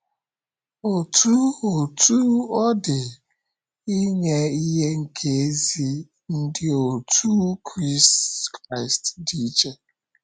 Otú Otú ọ dị, inye ihe nke ezi ndị otú Kraịst dị iche.